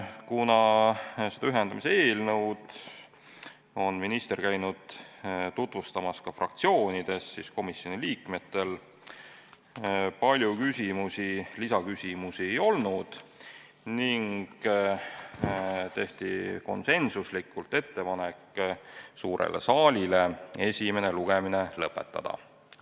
Kuna ühendamise eelnõu on minister käinud tutvustamas ka fraktsioonides, siis komisjoni liikmetel palju lisaküsimusi ei olnud ning tehti konsensuslikult suurele saalile ettepanek esimene lugemine lõpetada.